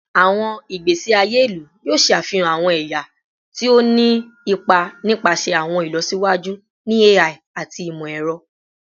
Awọn igbesi aye ilu yoo ṣe afihan awọn ẹya ti o ni ipa nipasẹ awọn ilọsiwaju ni AI ati imọ-ẹrọ